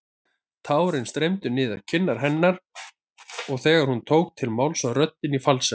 Tárin streymdu niður kinnar hennar og þegar hún tók til máls var röddin í falsettu.